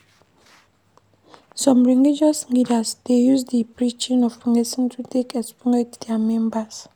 Some religious leaders dey use di preaching of blessing to take exploit their members